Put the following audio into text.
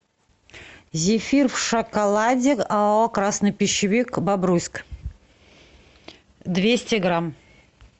зефир в шоколаде оао красный пищевик бобруйск двести грамм